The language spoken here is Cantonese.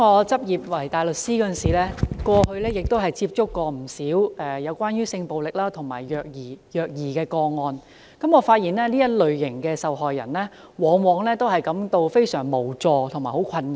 主席，我過去擔任執業大律師時，也曾接觸不少有關性暴力和虐兒的個案，發現這類受害人往往感到非常無助和困擾。